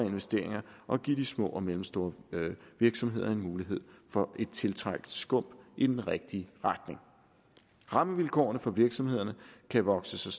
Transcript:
investeringer og give de små og mellemstore virksomheder en mulighed for et tiltrængt skub i den rigtige retning rammevilkårene for at virksomhederne kan vokse sig